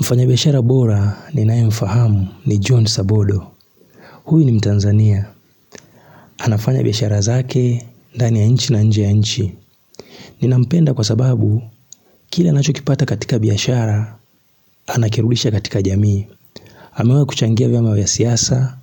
Mfanyabiashara bora ninayemfahamu ni John Sabodo huyu ni mtanzania anafanya biashara zake ndani ya nchi na nje ya nchi Ninampenda kwa sababu kile anachokipata katika biashara Anakirudisha katika jamii amewahi kuchangia vyama vya siasa,